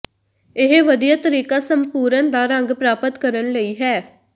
ਇਹ ਵਧੀਆ ਤਰੀਕਾ ਸੰਪੂਰਣ ਦਾ ਰੰਗ ਪ੍ਰਾਪਤ ਕਰਨ ਲਈ ਹੈ